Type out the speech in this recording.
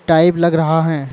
Type लग रहा है।